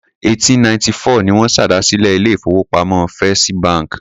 Ọdún 1894 ni wọ́n ṣèdásílẹl ilé-ìfowópamọ́ First bank.